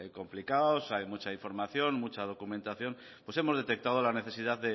complicados hay mucha información mucha documentación pues hemos detectado la necesidad de